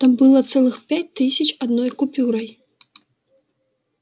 там было целых пять тысяч одной купюрой